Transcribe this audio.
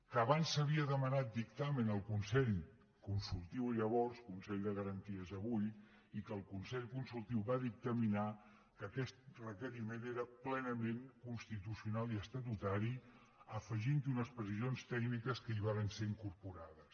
que abans s’havia demanat dictamen al consell consultiu llavors consell de garanties avui i que el consell consultiu va dictaminar que aquest requeriment era plenament constitucional i estatutari afegint hi unes precisions tècniques que hi varen ser incorporades